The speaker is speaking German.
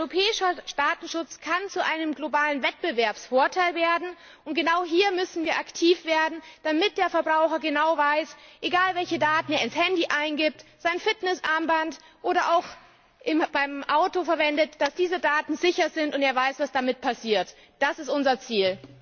Europäischer Datenschutz kann zu einem globalen Wettbewerbsvorteil werden. Und genau hier müssen wir aktiv werden, damit der Verbraucher genau weiß, dass egal welche Daten er ins Handy oder sein Fitnessarmband eingibt oder auch beim Auto verwendet diese Daten sicher sind, und er weiß, was damit passiert. Das ist unser Ziel!